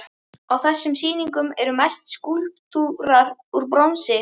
Á þessum sýningum eru mest skúlptúrar úr bronsi.